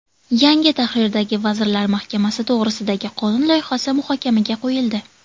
Yangi tahrirdagi Vazirlar Mahkamasi to‘g‘risidagi qonun loyihasi muhokamaga qo‘yildi.